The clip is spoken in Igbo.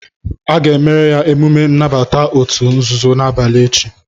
A ga-emere ya emume nnabata òtù nzuzo n'abalị echi